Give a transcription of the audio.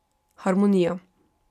Harmonija.